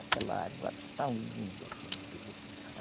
Aquela água tão linda que é uma beleza.